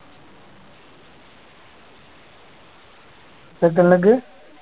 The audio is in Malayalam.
second leg